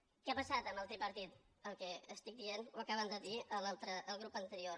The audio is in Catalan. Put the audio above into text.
què ha passat amb el tripartit el que estic dient i ho acaba de dir el grup anterior